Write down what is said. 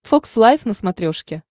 фокс лайф на смотрешке